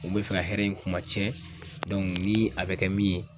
Kun be fɛ ka hɛrɛ in kumatiɲɛ ni a bɛ kɛ min ye